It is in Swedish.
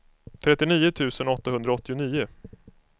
trettionio tusen åttahundraåttionio